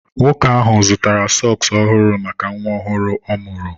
Nwoke ahụ zụtara sọks ọhụrụ maka nwa ọhụrụ ọ mụrụ.